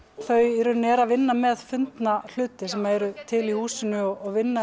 þau í rauninni eru að vinna með fundna hluti sem eru til í húsinu og vinna